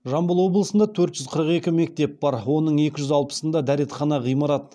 жамбыл облысында төрт жүз қырық екі мектеп бар оның екі жүз алпысында